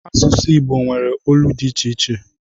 Asụsụ Igbo nwere olu dị iche iche